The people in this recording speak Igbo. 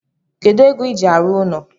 Kedu ego iji arụ ụlọ